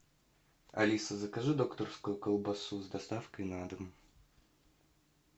алиса закажи докторскую колбасу с доставкой на дом